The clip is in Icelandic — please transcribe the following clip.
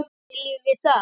Viljum við það?